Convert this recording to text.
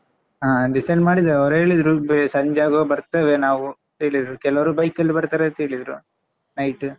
ಹ decide ಮಾಡಿದ್ದೇವೆ ಅವರು ಹೇಳಿದ್ರು ಸಂಜೆ ಆಗ್ವಾಗ ಬರ್ತೇವೆ ನಾವು ಹೇಳಿದ್ರು ಕೆಲವರು bike ಕಲ್ಲಿ ಬರ್ತಾರೇಂತ ಹೇಳಿದ್ರು night .